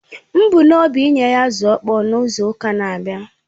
M bu n’obi inye ha azụ̀ ọ̀kpọ̀ọ̀ n’izu ụka na-abịa